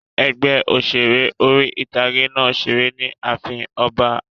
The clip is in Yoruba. Ẹgbẹ́ òṣèré orí-ìtágé náà n ṣeré ni ààfin ọba